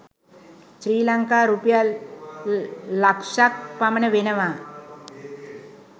ශ්‍රී ලංකා රුපියල් ලක්‍ෂක් පමණ වෙනවා.